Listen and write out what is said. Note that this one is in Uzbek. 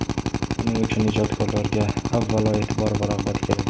Buning uchun ijodkorlarga, avvalo, e’tibor va rag‘bat kerak.